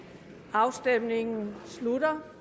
afstemningen slutter